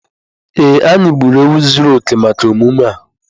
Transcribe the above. Ee, anyị gburu ewu zuru oke maka emume a.